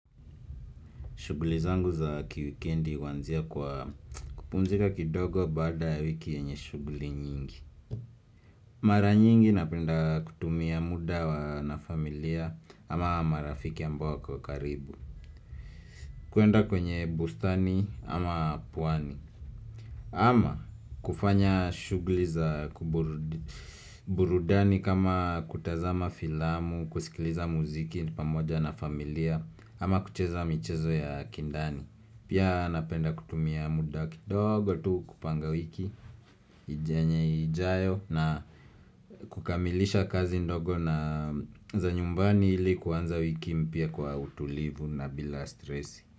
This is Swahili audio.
Shughuli zangu za kiwikendi huanzia kwa kupumzika kidogo baada ya wiki yenye shughuli nyingi. Mara nyingi napenda kutumia muda na familia ama marafiki ambao wako karibu. Kwenda kwenye bustani ama pwani. Ama kufanya shughuli za burudani kama kutazama filamu, kusikiliza muziki pamoja na familia ama kucheza michezo ya kindani. Pia napenda kutumia muda kidogo tu kupanga wiki yenye ijayo na kukamilisha kazi ndogo za nyumbani ili kuanza wiki mpya kwa utulivu na bila stress.